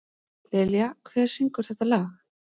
Dilja, hver syngur þetta lag?